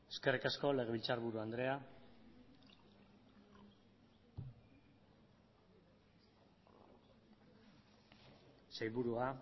eskerrik asko legebiltzarburu andrea sailburua